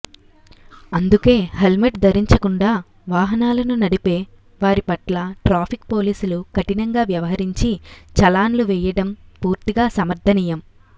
అందుకే హల్మెట్ ధరించకుండా వాహనాలను నడిపే వారి పట్ల ట్రాఫిక్ పోలీసులు కఠినంగా వ్యవహరించి చలాన్లు వేయడం పూర్తిగా సమర్ధనీయం